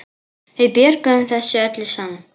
Við björgum þessu öllu saman.